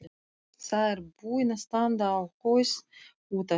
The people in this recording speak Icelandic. Sá er búinn að standa á haus út af þér!